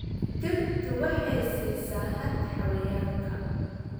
Dhirtu waxay siisaa hadh xayawaanka.